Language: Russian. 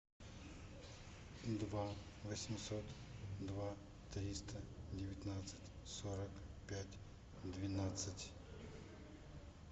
два восемьсот два триста девятнадцать сорок пять двенадцать